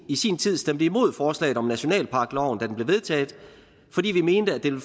i sin tid stemte imod forslaget om nationalparkloven fordi vi mente at det